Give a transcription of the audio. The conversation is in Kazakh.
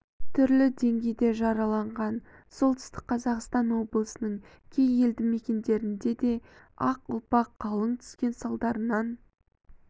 түрлі деңгейде жараланған солтүстік қазақстан облысының кей елді мекендерінде де ақ ұлпа қалың түскен салдарынан